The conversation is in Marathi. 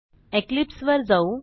इक्लिप्स वर जाऊ